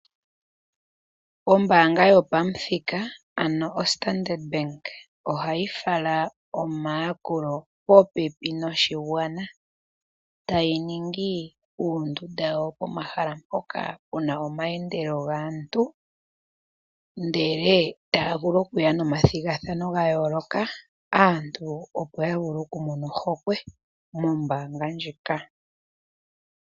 Ombaanga yopam'thika ,ano ostandard bank, ohayi fala omaakulo popepi noshigwana . Tayi ningi uundunda woo pomahala mpoka puna omayendelo gaantu ndele taa vulu okuya momathigathano ga yooloka. Aantu opo ya vule oku mona ohokwe mombaanga ndjika .